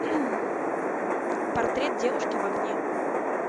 портрет девушки в огне